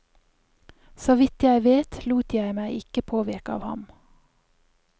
Såvidt jeg vet, lot jeg meg ikke påvirke av ham.